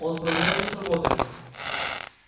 он справляется с работой